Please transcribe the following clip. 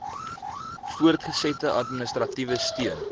voortgesette administratiewe steun